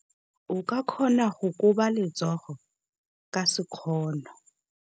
O ka kgona go koba letsogo ka sekgono.